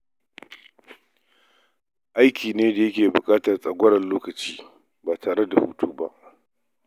Aiki ne da yake buƙatar tsagwaron lokacin ba tare da hutu ba.